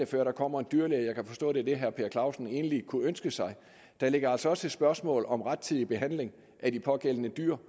før der kommer en dyrlæge og jeg kan forstå at det er det herre per clausen egentlig kunne ønske sig ligger altså også et spørgsmål om rettidig behandling af de pågældende dyr